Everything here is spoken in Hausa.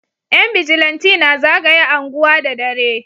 Yan bijilanti na zagaya anguwa da dare